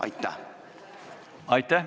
Aitäh!